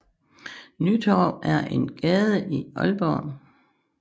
Nytorv er en gade i Aalborg